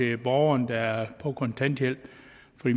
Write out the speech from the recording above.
de borgere der er på kontanthjælp